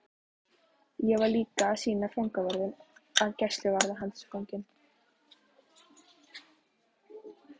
Ég var líka að sýna fangavörðunum að gæsluvarðhaldsfanginn